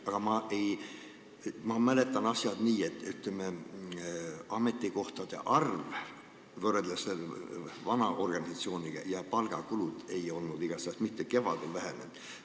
Aga ma mäletan asja nii, et võrreldes vana organisatsiooniga ametikohtade arv ja palgakulud igatahes kevadel ei vähenenud.